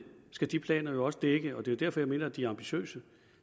skal de planer jo også dække og det er derfor jeg mener de er ambitiøse